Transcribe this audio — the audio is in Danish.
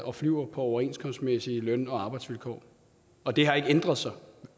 og flyver på overenskomstmæssige løn og arbejdsvilkår og det har ikke ændret sig